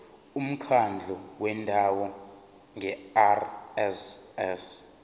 umkhandlu wendawo ngerss